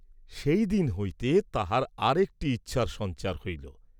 সেই দিন হইতে তাঁহার আর একটি ইচ্ছার সঞ্চার হইল।